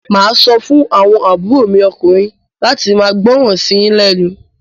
Màá sọ fún àwọn àbúrò mi ọkùnrin láti máa gbọ́ràn sí yín lẹ́nu.